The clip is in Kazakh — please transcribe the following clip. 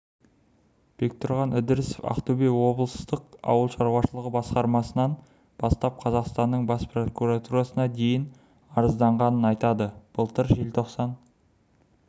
бектұрған ідірісов ақтөбе облыстық ауыл шаруашылығы басқармасынан бастап қазақстанның бас прокуратурасына дейін арызданғанын айтады былтыр желтоқсан